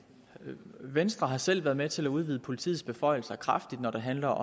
venstre har selv været med til at udvide politiets beføjelser kraftigt når det handler